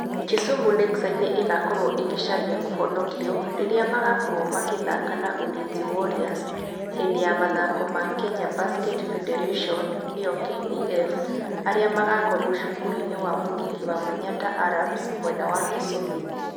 Kisumu Lakeside nĩ ĩgakorwo ĩkĩcaria kũhonokio rĩrĩa magakorwo makĩthaka na Ulinzi Warriors hĩndĩ ya mathako ma Kenya Basketball Federation (KBF) arĩa magakorwo cukuru-inĩ wa mũthingĩ wa Manyatta Arabs mwena wa Kisumu.